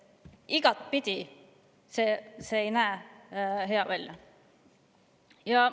pidi ei näe see hea välja.